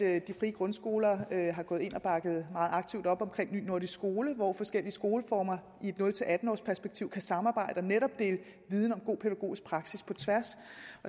at de frie grundskoler har gået ind og bakket meget op aktivt op om ny nordisk skole hvor forskellige skoleformer i et nul atten årsperspektiv kan samarbejde og netop dele viden om god pædagogisk praksis på tværs